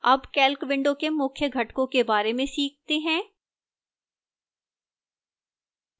अब calc window के मुख्य घटकों के बारे में सीखते हैं